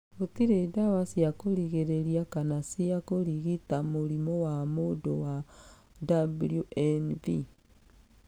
Gũtirĩ dawa cĩa kũrigĩrĩria kana cia kũrigita mũrimũ wa mũndũ wa WNV.